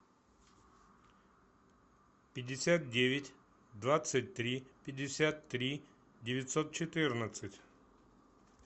пятьдесят девять двадцать три пятьдесят три девятьсот четырнадцать